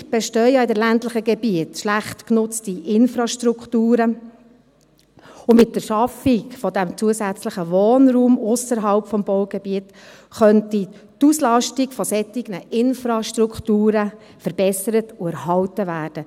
Häufig bestehen ja in den ländlichen Gebieten schlecht genutzte Infrastrukturen, und mit der Schaffung dieses zusätzlichen Wohnraums ausserhalb des Baugebiets könnte die Auslastung solcher Infrastrukturen verbessert und erhalten werden.